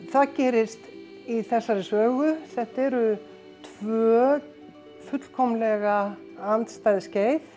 það gerist í þessari sögu þetta eru tvö fullkomlega andstæð skeið